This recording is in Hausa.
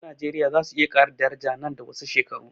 Kudin najeriya zasu iya ƙara daraja nan da wasu shekaru